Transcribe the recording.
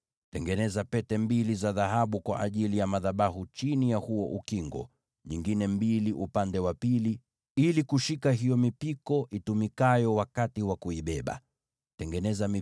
Tengeneza pete mbili za dhahabu kwa ajili ya madhabahu chini ya huo ukingo, ziwe mbili kila upande, za kushikilia hiyo mipiko itumikayo kuibebea madhabahu.